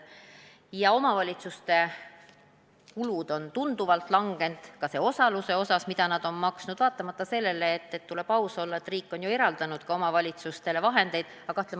Omavalitsuste kulud on aga tunduvalt kahanenud, ka selle osaluse osas, mis nad on maksnud, vaatamata sellele et riik on omavalitsustele vahendeid eraldanud.